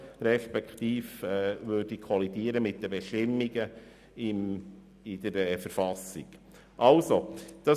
Er würde also mit den Bestimmungen der Verfassung des Kantons Bern (KV) kollidieren.